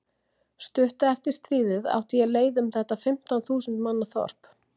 Stuttu eftir stríðið átti ég leið um þetta fimmtán þúsund manna þorp.